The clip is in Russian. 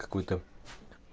какой-то